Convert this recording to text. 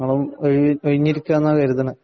നിങ്ങളും കഴിഞ്ഞിരിക്കയാണെന്നാ കരുതണേ.